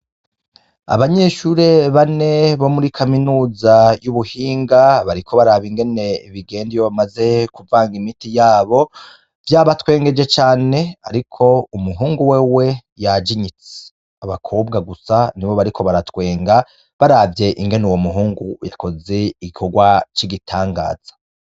Abanyeshure bane bo muri kaminuza y'ubuhinga bariko baraba ingene bigenda iyo bamaze kuvanga imiti yabo, vyabatwengeje cane, ariko umuhungu wewe yajinyitse, abakobwa gusa nibo bariko baratwenga baravye ingene uwo muhungu yakoze igikorwa c'igitanganza.